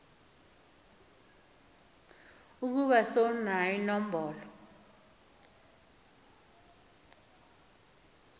ukuba sewunayo inombolo